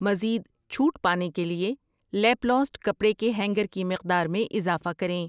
مزید چھوٹ پانے کے لیے لیپلاسٹ کپڑے کے ہینگر کی مقدار میں اضافہ کریں